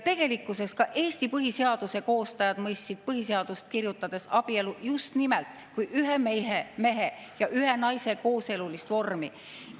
Tegelikkuses mõistsid ka Eesti põhiseaduse koostajad põhiseadust kirjutades abielu just nimelt kui ühe mehe ja ühe naise kooselu vormi.